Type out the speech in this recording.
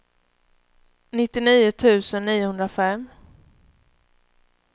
nittionio tusen niohundrafem